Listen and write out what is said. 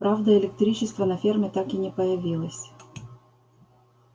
правда электричества на ферме так и не появилось